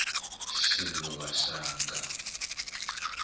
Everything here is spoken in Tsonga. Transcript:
xiluva xanga